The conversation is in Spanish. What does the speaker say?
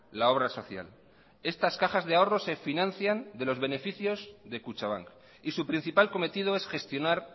la obra social estas cajas de ahorros se financian de los beneficios de kutxabank y su principal cometido es gestionar